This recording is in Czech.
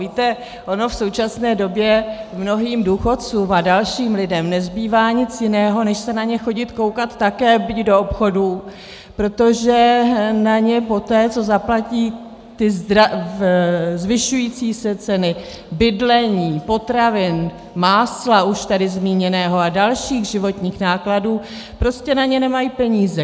Víte, ono v současné době mnohým důchodcům a dalším lidem nezbývá nic jiného než se na ně chodit koukat také, byť do obchodů, protože na ně poté, co zaplatí ty zvyšující se ceny bydlení, potravin, másla už tady zmíněného a dalších životních nákladů, prostě na ně nemají peníze.